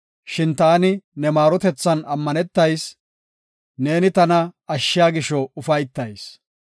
Shin taani ne maarotethan ammanetayis; neeni tana ashshiya gisho ufaytayis.